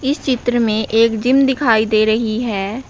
इस चित्र में एक जिम दिखाई दे रही है।